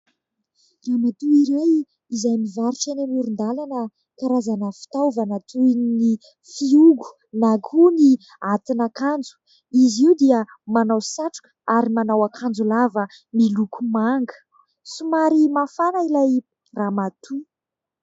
Ramatoa iray izay mivarotra eny amoron-dalana karazana fitaovana toy ny fihogo na koa ny atin'akanjo. Izy io dia manao satroka ary manao akaanjo lava miloko manga. Somary mafana ilay ramatoa.